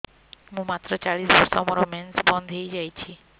ମୁଁ ମାତ୍ର ଚାଳିଶ ବର୍ଷ ମୋର ମେନ୍ସ ବନ୍ଦ ହେଇଯାଇଛି